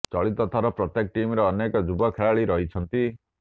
ଚଳିତ ଥର ପ୍ରତ୍ୟେକ ଟିମରେ ଅନେକ ଯୁବ ଖେଳାଳୀ ରହିଛନ୍ତି